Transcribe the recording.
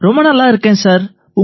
ரொம்ப நல்லா இருக்கேன் சார்